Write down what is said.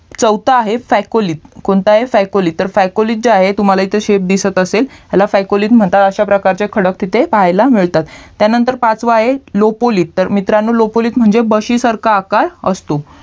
चौथा आहे सायकोलिक कोणतं आहे सायकोलिक तुम्हाला इथे शेप दिसत असेल ह्याला सायकोलिक असे म्हणतात अश्या प्रकारचे खडक तिथे पाहायाला मिळतात त्यानंतर पाचवा आहे लोपोलिक तर मित्रांनो लोपोलिक म्हणजे बशी सारख आकार असतो